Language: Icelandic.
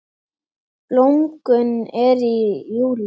Blómgun er í júlí.